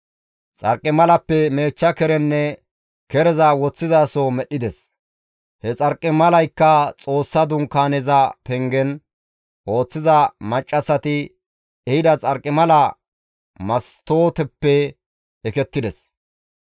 Xarqimalappe meechcha kerenne kereza woththizaso medhdhides; he xarqimalazikka Xoossa Dunkaaneza pengen ooththiza maccassati ehida xarqimala mastooteppe ekettides.